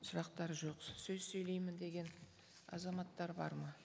сұрақтар жоқ сөз сөйлеймін деген азаматтар бар ма